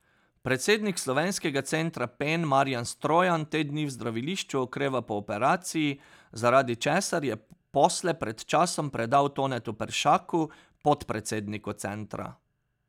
Predsednik Slovenskega centra Pen Marjan Strojan te dni v zdravilišču okreva po operaciji, zaradi česar je posle pred časom predal Tonetu Peršaku, podpredsedniku centra.